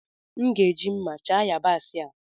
M ga-eji mma chaa yabaasị a.